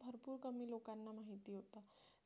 खूप कमी लोकांना माहिती होतं